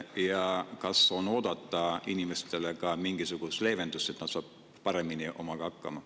Ja kas on oodata ka inimestele mingisugust leevendust, et nad saaksid paremini hakkama?